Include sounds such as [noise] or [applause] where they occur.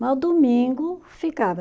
[unintelligible] domingo ficava.